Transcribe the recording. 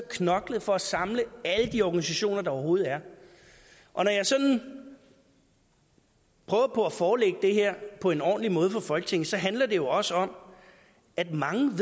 knoklet for at samle alle de organisationer der overhovedet er og når jeg sådan prøver på at forelægge det her på en ordentlig måde for folketinget handler det jo også om at mange